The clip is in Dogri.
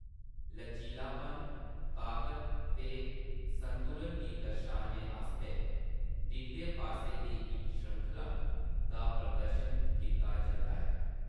लचीलापन, ताकत ते संतुलन गी दर्शाने आस्तै डिगदे पास दी इक श्रृंखला दा प्रदर्शन कीता जंदा ऐ ।